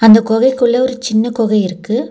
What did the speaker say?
அந்த கோவில்குள்ள ஒரு சின்ன கொக இருக்கு.